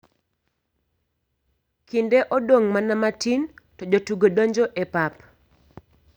Kinde odong' mana matin to jotugo donjo e pap.